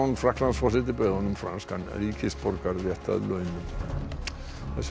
Frakklandsforseti bauð honum franskan ríkisborgararétt þessum